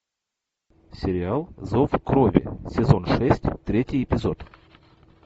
сериал зов крови сезон шесть третий эпизод